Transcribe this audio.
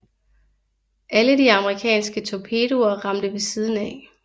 Alle de amerikanske torpedoer ramte ved siden af